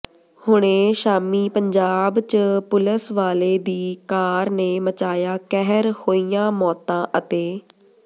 ਹੁਣੇ ਸ਼ਾਮੀ ਪੰਜਾਬ ਚ ਪੁਲਸ ਵਾਲੇ ਦੀ ਕਾਰ ਨੇ ਮਚਾਇਆ ਕਹਿਰ ਹੋਈਆਂ ਮੌਤਾਂ ਅਤੇ